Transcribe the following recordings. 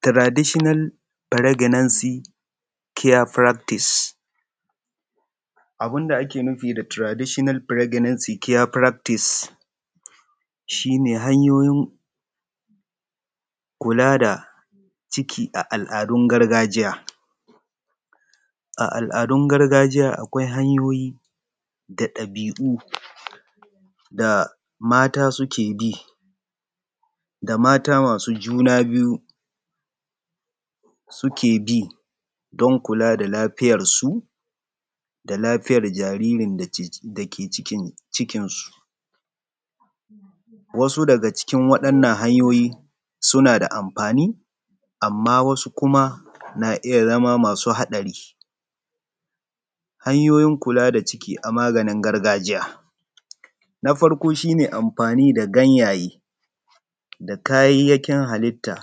Traditional pregnancy care Practice, abun da ake nufi da traditional pregnancy care practice shi ne hanyoyin kula da ciki a al'adun gargajiya. A al'adun gargajiya akeai hanyoyi da ɗabi'u da mata suke bi da mata masu juna biyu sike bi don kula da lafiyarsu da lafiya jariri dake cikinsu baya. Wasu daga cikin waɗannan hanyoti suna da amfani amma wasu na iya zama masu haɗari .hanyaoyi kula da cika a maganin gargajiya. Shi ne amfani da ganyaye da kayayyakin halita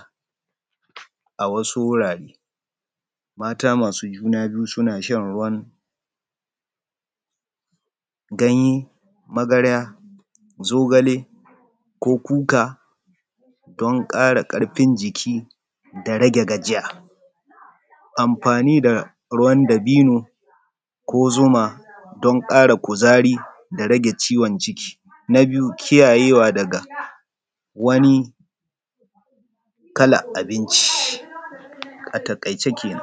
a wasu wurare, masu masu juna biyu sina shan ruwan ganye, magarya, zigale ko kuka don ƙara karfin jiki da rage gajiya. Amfni da ruwan dabono do. Karfin kuzari da rage ciwon ciki. Na biyu kiayyewa daga wani kalar abunci shi kenan.